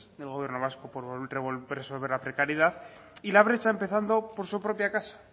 del gobierno vasco por resolver la precariedad y la brecha empezando por su propia casa